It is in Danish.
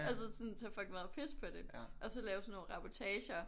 Og så sådan tage fucking meget pis på det og så lave sådan nogle reportager